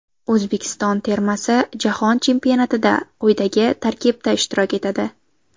O‘zbekiston termasi Jahon chempionatida quyidagi tarkibda ishtirok etadi.